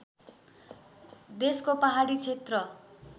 देशको पहाडी क्षेत्र